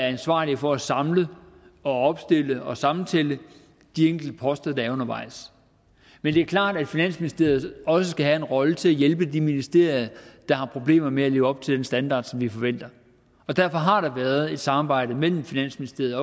ansvarlig for at samle opstille og sammentælle de enkelte poster der er undervejs men det er klart at finansministeriet også skal have en rolle til at hjælpe de ministerier der har problemer med at leve op til den standard som vi forventer og derfor har der været et samarbejde mellem finansministeriet